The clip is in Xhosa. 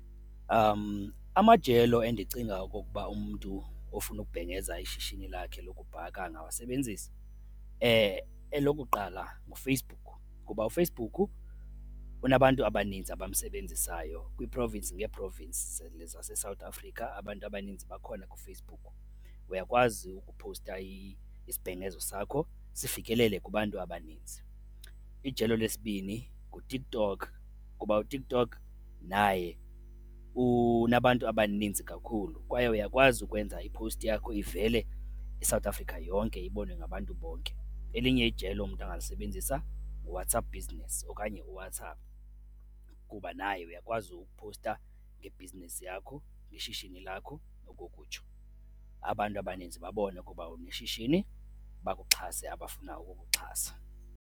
Amajelo endicinga okokuba umntu ofuna ukubhengeza ishishini lakhe wokubhaka angawasebenzisa, elokuqala nguFacebook ngoba uFacebook unabantu abaninzi abamsebenzisayo. Kwii-province ngee-province zaseSouth Africa abantu abaninzi bakhona kuFacebook, uyakwazi ukuphowusta isibhengezo sakho sifikelele kubantu abaninzi. Ijelo lesibini nguTikTok kuba uTikTok naye unabantu abaninzi kakhulu kwaye uyakwazi ukwenza iphowusti yakho ivele iSouth Africa yonke, ibonwe ngabantu bonke. Elinye ijelo mntu angalisebenzisa nguWhatsApp Business okanye uWhatsApp kuba naye uyakwazi ukuphowusta ibhizinisi yakho, ishishini lakho ngokokutsho, abantu abaninzi babone ukuba uneshishini bakuxhase abafuna ukukuxhasa.